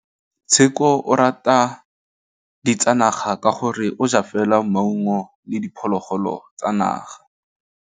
Tshekô o rata ditsanaga ka gore o ja fela maungo le diphologolo tsa naga.